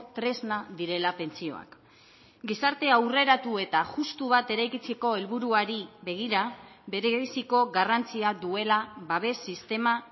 tresna direla pentsioak gizarte aurreratu eta justu bat eraikitzeko helburuari begira berebiziko garrantzia duela babes sistema